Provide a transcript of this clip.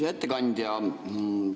Hea ettekandja!